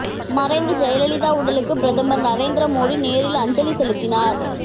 மறைந்த ஜெயலலிதா உடலுக்கு பிரதமர் நரேந்திர மோடி நேரில் அஞ்சலி செலுத்தினார்